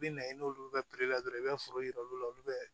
I bɛ na i n'olu ka la dɔrɔn i bɛ foro yira olu la olu bɛ